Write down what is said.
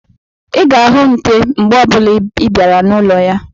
Ị ga-ahụ nte mgbe ọbụla ịbịara n'ụlọ ya